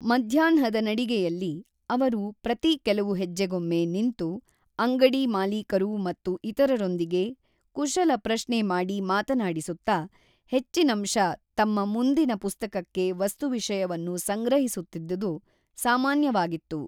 ಮಧ್ಯಾಹ್ನದ ನಡಿಗೆಯಲ್ಲಿ, ಅವರು ಪ್ರತೀ ಕೆಲವು ಹೆಜ್ಜೆಗೊಮ್ಮೆ ನಿಂತು, ಅಂಗಡಿ ಮಾಲೀಕರು ಮತ್ತು ಇತರರೊಂದಿಗೆ ಕುಶಲ ಪ್ರಶ್ನೆ ಮಾಡಿ ಮಾತನಾಡಿಸುತ್ತಾ, ಹೆಚ್ಚಿನಂಶ ತಮ್ಮ ಮುಂದಿನ ಪುಸ್ತಕಕ್ಕೆ ವಸ್ತುವಿಷಯವನ್ನು ಸಂಗ್ರಹಿಸುತ್ತಿದ್ದುದು ಸಾಮಾನ್ಯವಾಗಿತ್ತು.